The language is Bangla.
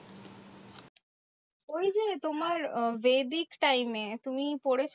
ওই যে তোমার আহ বৈদিক time এ, তুমি পড়েছো না?